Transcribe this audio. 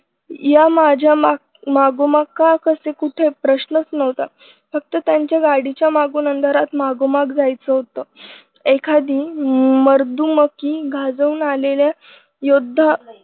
या माझ्या मा मागोमाग का कुठे प्रश्नच नव्हता. फक्त त्यांच्या गाडीच्या मागून अंधारात मागोमाग जायचं होत. एखादी मर्दुमकी गाजवून आलेल्या योद्धा